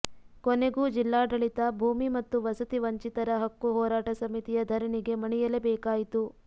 ಕೊನೆಗೂ ಜಿಲ್ಲಾಡಳಿತ ಭೂಮಿ ಮತ್ತು ವಸತಿ ವಂಚಿತರ ಹಕ್ಕು ಹೋರಾಟ ಸಮಿತಿಯ ಧರಣಿಗೆ ಮಣಿಯಲೇ ಬೇಕಾಯಿತು